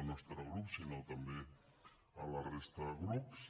el nostre grup sinó també la resta de grups